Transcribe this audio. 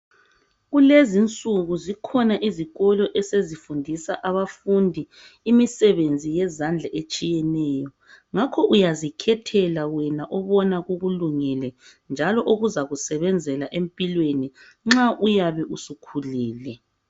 Kulezinsuku zikhona izikolo esezifundisa abafundi imisebenzi yezandla etshiyeneyo ngakho uyazikhethela wena obona kukulungele njalo okuzakusebenzela empilweni nxa uyabe usukhulile.